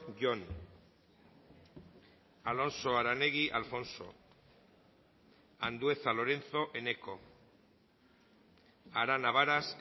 jon alonso aranegui alfonso andueza lorenzo eneko arana varas